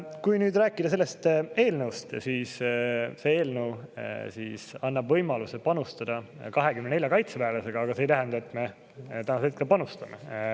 Kui nüüd rääkida sellest eelnõust, siis ütlen, et see annab võimaluse panustada 24 kaitseväelasega, aga see ei tähenda, et me praegu panustame.